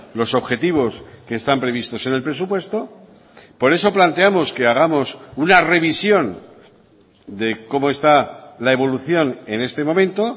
los objetivos que están previstos en el presupuesto por eso planteamos que hagamos una revisión de cómo está la evolución en este momento